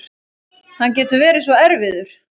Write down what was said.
Hann getur verið svo erfiður